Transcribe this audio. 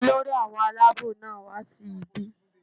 Olórí àwọn alábò náà wá sí ibí